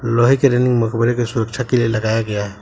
लोहे के रेलिंग मकबरे की सुरक्षा के लिए लगाया गया।